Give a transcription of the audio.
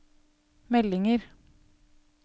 meldinger